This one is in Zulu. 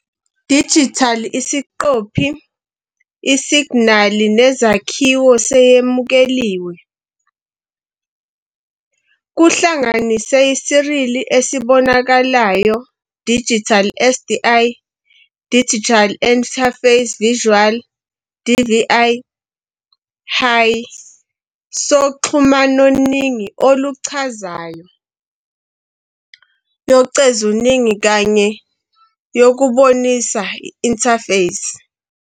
Digital isiqophi isignali nezakhiwo seyemukeliwe, kuhlanganise serial esibonakalayo digital, SDI, Digital Interface Visual, DVI, High soxhumanoningi oluchazayo, yocezuningi, kanye yokubonisa Interface.